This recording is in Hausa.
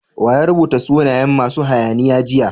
Wa ya rubuta sunayen masu hayaniya jiya?